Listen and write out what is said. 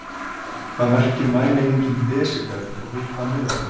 Hvað merkir mælieiningin desíbel og við hvað miðast hún?